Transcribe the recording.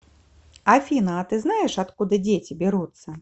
афина а ты знаешь откуда дети берутся